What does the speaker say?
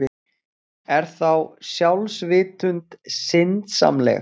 Er þá sjálfsvitund syndsamleg?